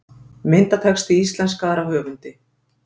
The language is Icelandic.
Myndatexti íslenskaður af höfundi.